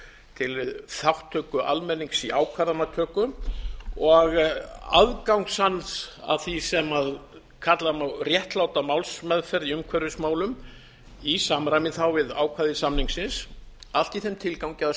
til þátttöku almennings í ákvarðanatöku og aðgangs hans að því sem kalla má réttláta málsmeðferð í umhverfismálum í samræmi við ákvæði samningsins allt í þeim tilgangi að